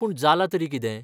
पूण जालां तरी कितें?